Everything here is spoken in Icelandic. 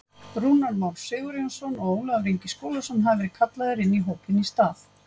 Rúnar Már Sigurjónsson og Ólafur Ingi Skúlason hafa verið kallaðir inn í hópinn í stað.